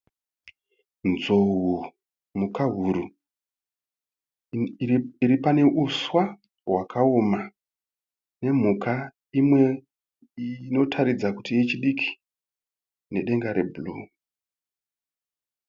Nzou mhukahuri iri pane huswa nedzimwewo mhuka dzinoratidza kuti dzichiri diki, nedenga rebhuruu.